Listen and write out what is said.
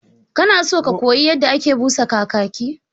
Kana so ka koyi yadda ake busa Kakaki?